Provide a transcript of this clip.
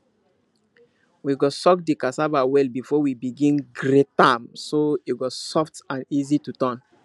we go soak the cassava well before we begin grate am so e go soft and easy to turn